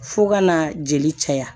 Fo ka na jeli caya